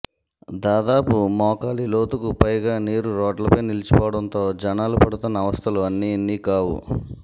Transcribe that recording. దాదాపు మోకాలి లోతుకు పైగా నీరు రోడ్లపై నిలిచిపోవడంతో జనాలుపడుతున్న అవస్థలు అన్నీ ఇన్నీ కావు